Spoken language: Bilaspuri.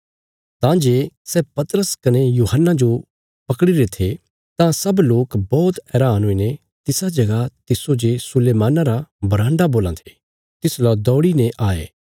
तां जे सै पतरस कने यूहन्ना जो पकड़ीरे थे तां सब लोक बौहत हैरान हुईने तिसा जगह तिस्सो जे सुलैमाना रा बरान्डा बोलां ये तिसलौ दौड़ीने आये